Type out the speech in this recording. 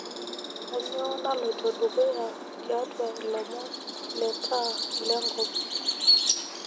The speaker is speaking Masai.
kanyoo naloito dukuya tiatwa ilomon lee taa le nkop